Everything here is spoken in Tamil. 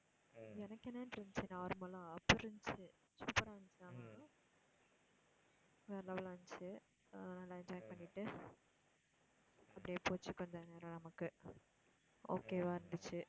எனக்கென்னானுட்டு இருந்துச்சு normal ஆ அப்படி இருந்துச்சு super ஆ இருந்துச்சு ஆனா வேற level ஆ இருந்துச்சு ஆஹ் நல்லா enjoy பண்ணிட்டு அப்படியே போச்சு கொஞ்ச நேரம் நமக்கு okay வா இருந்துச்சு